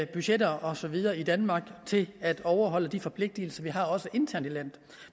budgetter og så videre i danmark og til at overholde de forpligtelser vi har også internt i landet